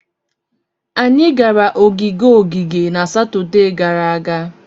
Anyị gara ogige ogige na Satọde gara aga.